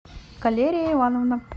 калерия ивановна